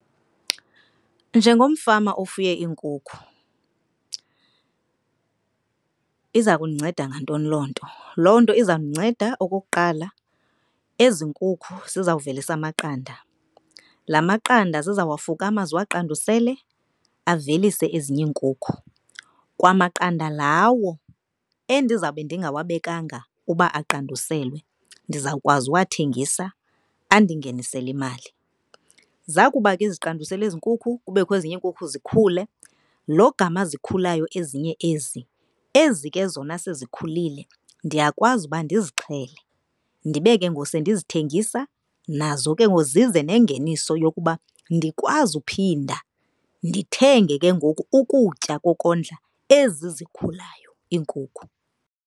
Njengomfama ofuye iinkukhu iza kundinceda ngantoni loo nto? Loo nto izawundinceda okokuqala, ezi nkukhu zizawuvelisa amaqanda. Laa maqanda zizawafukama, ziwaqandusele avelise ezinye iinkukhu. Kwamaqanda lawo endizawube ndingawabekanga uba aqanduselwe ndizawukwazi uwathengisa andingenisele imali. Zakuba ke ziqandusele ezi nkukhu kubekho ezinye iinkukhu zikhule, logama zikhulayo ezinye ezi, ezi ke zona sezikhulile ndiyakwazi uba ndizixhele ndibe ke ngoku sendizithengisa. Nazo ke ngoku zize nengeniso yokuba ndikwazi uphinda ndithenge ke ngoku ukutya kokondla ezi zikhulayo iinkukhu.